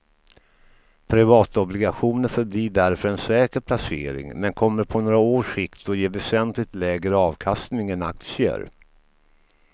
Privatobligationer förblir därför en säker placering men kommer på några års sikt att ge väsentligt lägre avkastning än aktier.